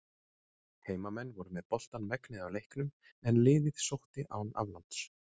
Heimamenn voru með boltann megnið af leiknum en liðið sótti án afláts.